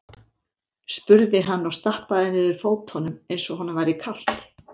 spurði hann og stappaði niður fótunum eins og honum væri kalt.